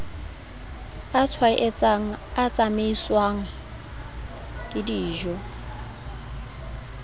a tshwaetsang a tsamaiswang kedijo